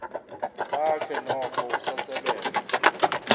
bakhe noko usasebenza